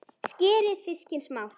Skerið fiskinn smátt.